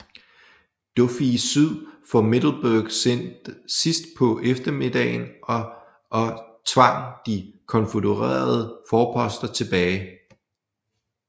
Duffié syd for Middleburg sidst på eftermiddagen og og tvang de konfødererede forposter tilbage